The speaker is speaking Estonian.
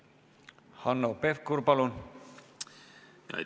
Hanno Pevkur, palun!